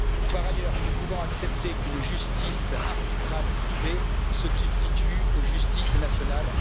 Par ailleurs, nous ne pouvons pas accepter qu'une justice arbitrale privée se substitue aux justices nationales.